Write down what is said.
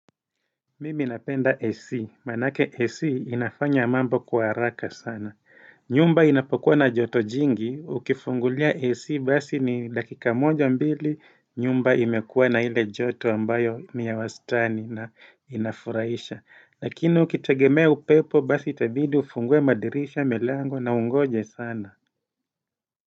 Mimi napenda AC. Manake AC inafanya mambo kwa haraka sana. Nyumba inapokuwa na joto jingi. Ukifungulia AC basi ni dakika moja mbili nyumba imekuwa na ile joto ambayo ni ya wastani na inafuraisha. Lakini ukitegemea upepo basi itabidi ufungue madirisha milango na ungoje sana.